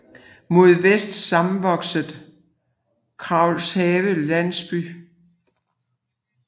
Mod vest sammenvokset med Kraghave landsby